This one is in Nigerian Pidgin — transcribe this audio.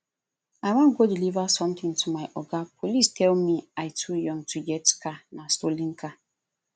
i wan go deliver something to my oga police tell me i too young to get car nah stolen car